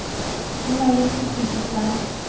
ho na le sefifi sa